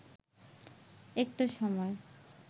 একটা সময়